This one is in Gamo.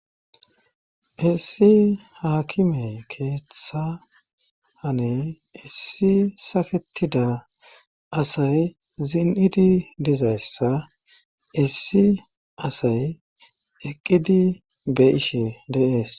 Issi haakimey keeththa hane issi saketida asay zin7idi dizayssa issi asay eqqidi be'ishe deees